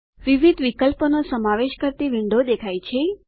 વિવિધ વિકલ્પોનો સમાવેશ કરતી વિન્ડો દેખાય છે